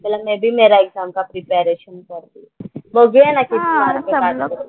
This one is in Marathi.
बोलले मैं भी मेरा एक्झाम का प्रिपरेशन कर रही हूँ. बघूया ना आता किती मार्क आणतात ते.